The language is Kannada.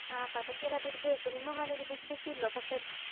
ಹಾ ಪಟಾಕಿ ಎಲ್ಲ ಬಿಡ್ಬೇಕು. ನಿಮ್ಮ ಮನೇಲಿ ಬಿಡ್ಲಿಕ್ಕಿಲ್ವಾ ಪಟಾಕಿ?